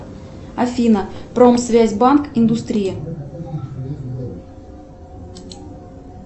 афина промсвязьбанк индустрия